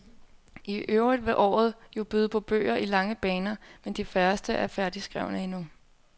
I øvrigt vil året jo byde på bøger i lange baner, men de færreste er færdigskrevne endnu.